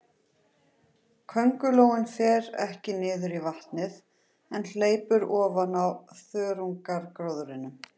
Köngulóin fer ekki niður í vatnið, en hleypur ofan á þörungagróðrinum.